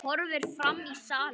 Horfir fram í salinn.